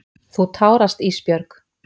Þú tárast Ísbjörg.